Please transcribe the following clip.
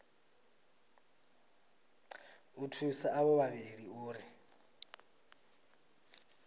u thusa avho vhavhili uri